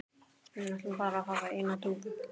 Við ætlum bara að hafa eina dúfu